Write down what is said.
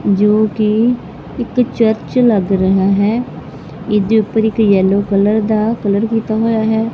ਜੋ ਕਿ ਇੱਕ ਚਰਚ ਲੱਗ ਰਿਹਾ ਹੈ ਇਹਦੇ ਉੱਪਰ ਇੱਕ ਯੈਲੋ ਕਲਰ ਦਾ ਕਲਰ ਕੀਤਾ ਹੋਇਆ ਹੈ।